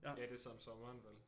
Ja det så om sommeren vel